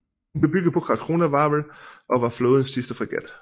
Hun blev bygget på Karlskronavarvet og var flådens sidste fregat